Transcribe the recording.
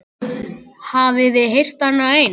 Hafiði heyrt annað eins?